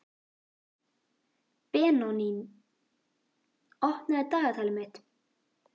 Benoný, opnaðu dagatalið mitt.